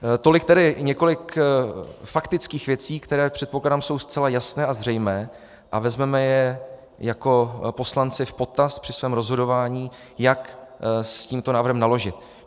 Tolik tedy několik faktických věcí, které, předpokládám, jsou zcela jasné a zřejmé a vezmeme je jako poslanci v potaz při svém rozhodování, jak s tímto návrhem naložit.